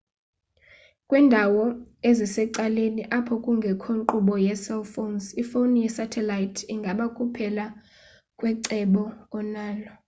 kwindawo ezisecaleni apho kungekho nkqubo yecell phones ifoni yesatellite ingaba kuphela kwecebo onalo